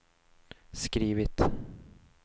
skrivit